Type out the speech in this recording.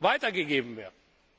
weitergegeben werden?